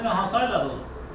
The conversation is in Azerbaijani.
Təxminən hansı aylardır?